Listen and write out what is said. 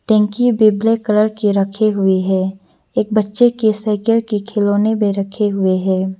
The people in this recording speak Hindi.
टैंकी भी ब्लैक कलर के रखे हुए है एक बच्चे के साइकिल के खिलौने भी रखे हुए है।